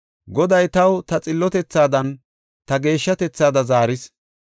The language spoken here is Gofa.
Goday taw ta xillotethaadanne ta geeshshatethaada zaaris.